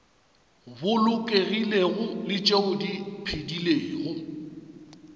bolokegilego le tšeo di phedilego